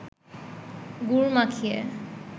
গুড় মাখিয়ে